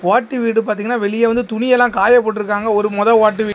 ஓட்டு வீடு பார்த்தீங்கன்னா வெளிய வந்து துணியெல்லாம் காய போட்டுருக்காங்க ஒரு மொத ஓட்டு வீடு.